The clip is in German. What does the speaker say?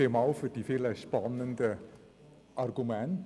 Vielen Dank für die vielen spannenden Argumente.